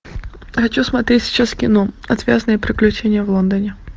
хочу смотреть сейчас кино отвязные приключения в лондоне